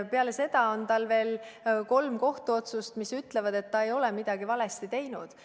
Peale seda on Keit Pentus-Rosimannusel veel kolm kohtuotsust, mis ütlevad, et ta ei ole midagi valesti teinud.